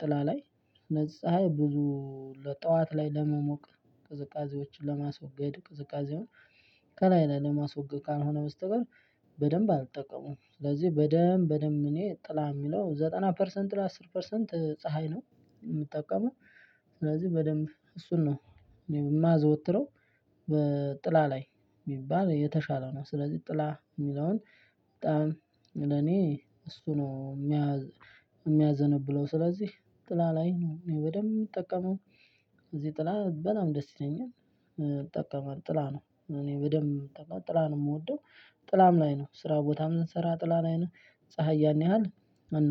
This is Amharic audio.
ጥላ ላይ ፀሀይ ብዙ ጠዋት ላይ ለመሞቅ ቅዝቃዜዎችን ለማስወገድ ቅዝቃዜውን ከላይ ላይ ለማስወገድ ካልሆነ በስተቀር። በደንብ አልጠቀሙም ስለዚህ በደንብ በደንብ እኔ ጥላ የሚለው ዘጠና ፐርሰንት ለአስር ፐርሰንት ፀሀይ ነው የምጠቀመው። ስለዚህ በደንብ እሱን ነው እኔ የማዘወትረው በጥላ ላይ ቢባል የተሻለ ነው። ስለዚህ ጥላ የሚለውን በጣም ለኔ እሱ ነው የሚያዘነብለው። ስለዚህ ጥላ ላይ ነው እኔ በደንብ የምጠቀመው። ስለዚህ ጥላ በጣም ደስ ይለኛል እጠቀማለሁ ጥላ ነው እኔ በደንብ ጥላ ነው የምወደው። ጥላም ላይ ነው ስራ ቦታ የምንሰራ ጥላ ላይ ነው ፀሀይ ያን ያህል።